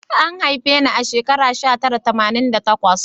An haife ni a shekara sha tara tamanin da takwas